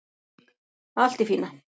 Allt í fína